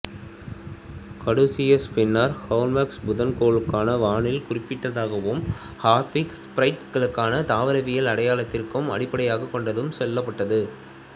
caduceus பின்னர் Hermes புதன் கோளுக்கான வானியல் குறியீடாகவும் ஹெர்மாஃப்ரோடைட்டுக்கான தாவரவியல் அடையாளத்திற்கும் அடிப்படையாக கொண்டு செல்லப்பட்டது